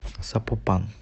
сапопан